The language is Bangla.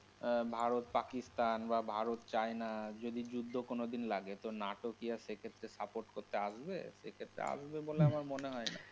ভারত পাকিস্তান বা ভারত - চায়না যদি যুদ্ধ কোনোদিন লাগে তো নাটো কি আর সে ক্ষেত্রে support করতে আসবে? সে ক্ষেত্রে আসবে বলে তো আমার মনে হয় না।